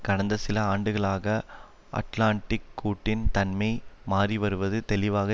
கடந்த சில ஆண்டுகளாக அட்லாண்டிக் கூட்டின் தன்மை மாறிவருவது தெளிவாக